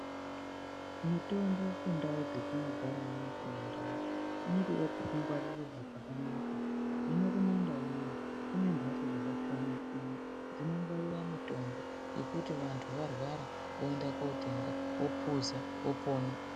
Mitombo kundau dzetinogara amweni kumandau inotode kungwarirwa pakanaka hino kumandau unono kune mhatso dzakasiyana siyana dzinongwarira mitombo yekuti vantu varwara oenda kotenga opoza opona